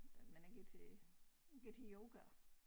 Men ikke til jeg går til yoga